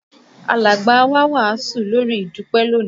Alàgbà wá wàásù lórí ìdúpé lónìí